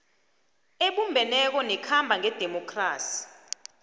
ebumbeneko nekhamba ngedemokhrasi